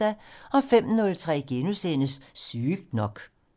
05:03: Sygt nok *